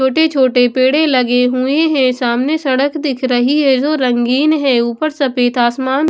छोटे-छोटे पेड़े लगे हुए हैं सामने सड़क दिख रही है जो रंगीन है ऊपर सफेद आसमान--